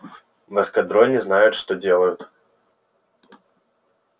в эскадроне знают что делают